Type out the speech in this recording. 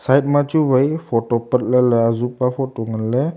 agma chu wai photo patla le aju pa photo ngan le.